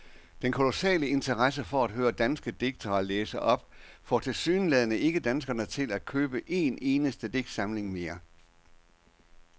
Den kolossale interesse for at høre danske digtere læse op får tilsyneladende ikke danskerne til at købe en eneste digtsamling mere.